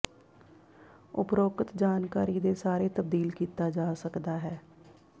ਉਪਰੋਕਤ ਜਾਣਕਾਰੀ ਦੇ ਸਾਰੇ ਤਬਦੀਲ ਕੀਤਾ ਜਾ ਸਕਦਾ ਹੈ